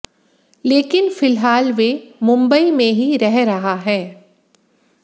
लेकिन फिलहाल वे मुंबई में ही रह रहा है